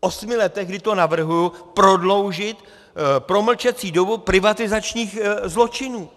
osmi letech, kdy to navrhuji, prodloužit promlčecí dobu privatizačních zločinů.